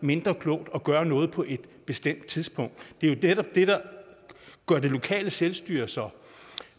mindre klogt at gøre noget på et bestemt tidspunkt det er jo netop det der gør det lokale selvstyre så